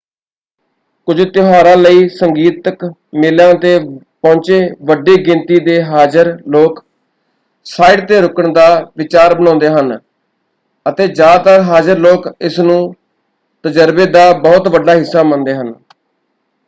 ਕੁਝ ਤਿਉਹਾਰਾਂ ਲਈ ਸੰਗੀਤਕ ਮੇਲਿਆਂ 'ਤੇ ਪਹੁੰਚੇ ਵੱਡੀ ਗਿਣਤੀ ਦੇ ਹਾਜ਼ਰ ਲੋਕ ਸਾਈਟ 'ਤੇ ਰੁਕਣ ਦਾ ਵਿਚਾਰ ਬਣਾਉਂਦੇ ਹਨ ਅਤੇ ਜ਼ਿਆਦਾਤਰ ਹਾਜ਼ਰ ਲੋਕ ਇਸਨੂੰ ਤਜਰਬੇ ਦਾ ਬਹੁਤ ਵੱਡਾ ਹਿੱਸਾ ਮੰਨਦੇ ਹਨ।